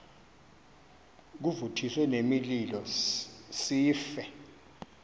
kuvuthiswe nemililo sife